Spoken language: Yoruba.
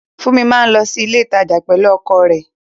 Funmi máa lọ sí ilé ìtajà pẹ̀lú ọkọ̀ rẹ̀